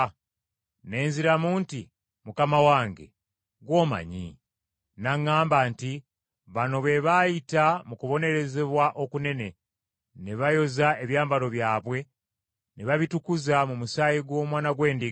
Ne nziramu nti. “Mukama wange, gw’omanyi.” N’aŋŋamba nti, “Bano be baayita mu kubonaabona okunene, ne bayoza ebyambalo byabwe ne babitukuza mu musaayi gw’Omwana gw’Endiga.